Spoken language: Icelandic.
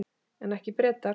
En ekki Bretar.